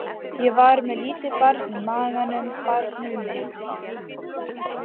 Ég var með lítið barn í maganum, barnið mitt.